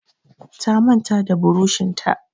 Ta manta da burushin ta.